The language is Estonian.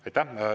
Aitäh!